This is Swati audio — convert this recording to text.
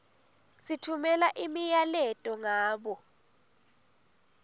sitfumela imiyaleto ngabo